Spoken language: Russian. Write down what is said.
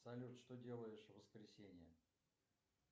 салют что делаешь в воскресенье